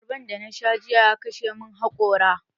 Abarban da na sha jiya ya kashe mun hakora